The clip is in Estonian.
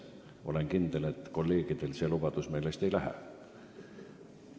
Olen kindel, et kolleegidel see lubadus meelest ei lähe.